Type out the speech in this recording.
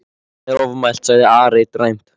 Það er ofmælt, sagði Ari dræmt.